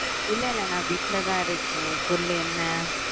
இல்ல இல்ல நா வீட்லதா இருக்கன் சொல்லு என்ன